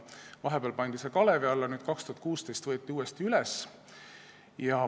Vahepeal pandi see teema kalevi alla, 2016. aastal võeti uuesti üles.